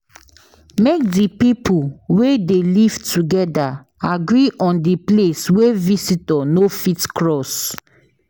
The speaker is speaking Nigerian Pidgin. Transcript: Make di pipo wey de live together agree on di place wey visitor no fit cross